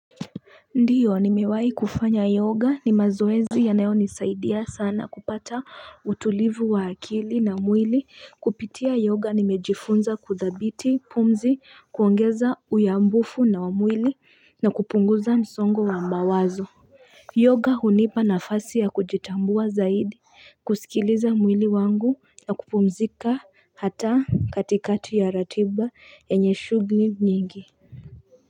Ndiyo.nimewai kufanya yoga, ni mazoezi yanayo nisaidia sana kupata utulivu wa akili na mwili.kupitia yoga nimejifunza kuthabiti pumzi, kuongeza uyambufu na wamwili na kupunguza msongo wa mawazo yoga hunipa nafasi ya kujitambua zaidi kusikiliza mwili wangu na kupumzika hata katikati ya ratiba enye shughuli nyingi.